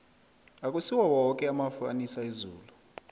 akusiwo woke amafu anisa izulu